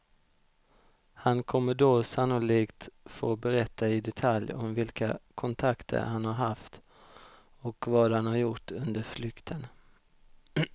Han kommer då sannolikt få berätta i detalj om vilka kontakter han har haft och vad han har gjort under flykten.